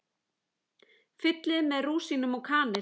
Fyllið með rúsínum og kanil.